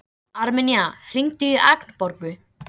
Um ánægjuna sem það veitti henni að sjá húsið.